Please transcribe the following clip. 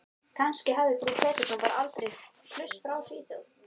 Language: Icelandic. Kannski hafði frú Pettersson bara aldrei flust frá Svíþjóð.